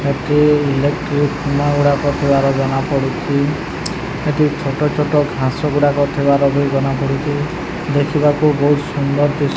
ଏଠି ଇଲେକ୍ଟ୍ରିକ ଖୁମ୍ବା ଗୁଡାକ ଜଣାପଡୁଛି ଏଠି ଛୋଟ ଛୋଟ ଘାସଗୁଡାକ ଉଠିବାର ବି ଜଣାପଡୁଛି ଦେଖିବାକୁ ବହୁତ୍ ସୁନ୍ଦର୍ ଦିଶ୍ --